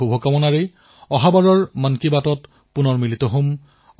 এই শুভকামনাৰ সৈতে আগন্তুক মন কী বাতত পুনৰ লগ পাম